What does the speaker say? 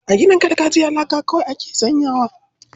A ginin gargajiya laka kawai ake sanyawa.